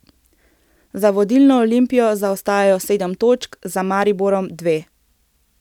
Za vodilno Olimpijo zaostajajo sedem točk, za Mariborom dve.